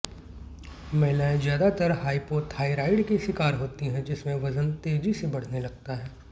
महिलाएं ज्यादातर hypothyroid की शिकार होती हैं जिसमें वजन तेजी से बढ़ने लगता है